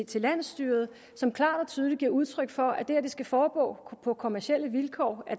til landsstyret som klart og tydeligt giver udtryk for at det skal foregå på kommercielle vilkår